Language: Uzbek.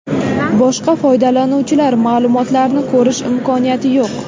Boshqa foydalanuvchilar ma’lumotlarini ko‘rish imkoniyati yo‘q.